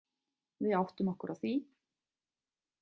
Við áttum okkur á því.